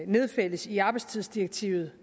nedfældes i arbejdstidsdirektivet